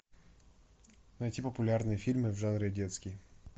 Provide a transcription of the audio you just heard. найти популярные фильмы в жанре детский